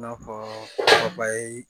I n'a fɔ